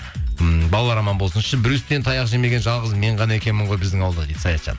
м балалар аман болсыншы брюстен таяқ жемеген жалғыз мен ғана екенмін ғой біздің ауылдан дейді саятжан